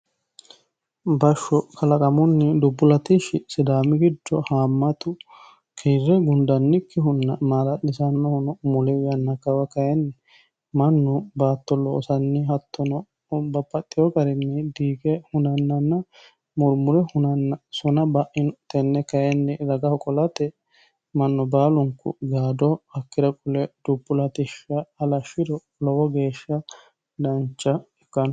bashsho kalaqamunni dubbu latishshi sidaami gijjo haammatu kiirre gundannikkihunna maala'lisannohono muli yanna kawa kayinni mannu baatto loosanni hattono bire garinni diige hunannanna murmure hunanna sona ba'ino tenne kayinni daga qolate mannu baalunku gaado hakkira qule dubbu latishsh halashshiro lowo geeshsha dancha ikkanno